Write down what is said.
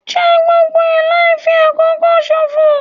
Jẹ gbogbo ẹ̀ láì fi àkókò ṣòfò.